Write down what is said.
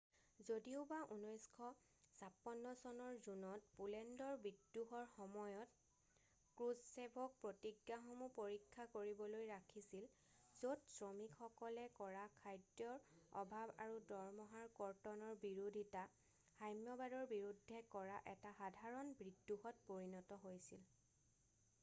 যদিওবা 1956 চনৰ জুনত পোলেণ্ডৰ বিদ্ৰোহৰ সময়ত ক্ৰুসচেভক প্ৰতিজ্ঞাসমূহ পৰীক্ষা কৰিবলৈ ৰাখিছিল য'ত শ্ৰমিকসকলে কৰা খাদ্যৰ অভাৱ আৰু দৰমহাৰ কৰ্তনৰ বিৰোধিতা সাম্যবাদৰ বিৰুদ্ধে কৰা এটা সাধাৰণ বিদ্ৰোহত পৰিণত হৈছিল।